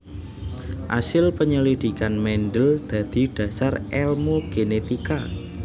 Asil penyelidikan Mendel dadi dhasar èlmu genetika